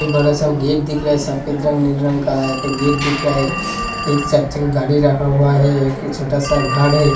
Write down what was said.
एक बड़ा सा गेट (gate) दिख रहा है। सफेद रंग नीले रंग का है यहाँ पे गेट दिख रहा है एक गाड़ी रखा हुआ है। एक छोटा सा घर है।